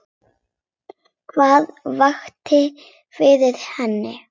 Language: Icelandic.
Hvað vakti fyrir henni?